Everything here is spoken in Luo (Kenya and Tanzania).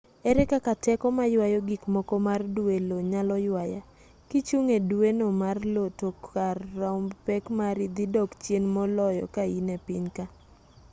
ere kaka teko mayuayo gikmoko mar dwe io nyalo ywaya kichung' e dweno mar io to kar romb pek mari dhi dok chien mololo ka in e piny ka